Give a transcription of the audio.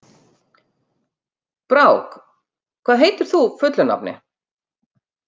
Brák, hvað heitir þú fullu nafni?